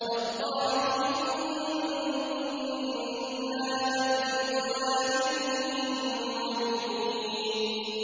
تَاللَّهِ إِن كُنَّا لَفِي ضَلَالٍ مُّبِينٍ